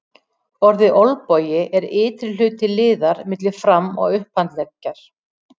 Orðið olnbogi er ytri hluti liðar milli fram- og upphandleggjar.